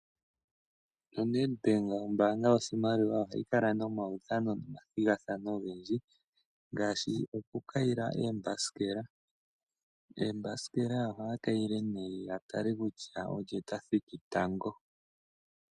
ONedbank ombaanga yoshimaliwa ohayi kala nomaudhano nomathigathano ogendji ngaashi okukayila oombasikela. Oombasikela ohaya kayile nduno ya tale kutya olye ta thiki tango.